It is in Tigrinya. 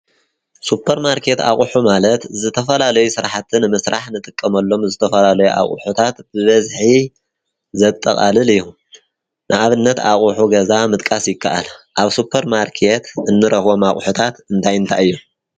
ሱፐርማርኬት ማለት ዝተፈላለዩ ስራሕ ንምስራሕ ንጥቀመሉ አቁሑት ብበዝሒ ዘጠቃልል እዪ አብ ሱፐርማርኬት ዝጠቃለሉ አቁሑት እንታይ እንታይ እዮም?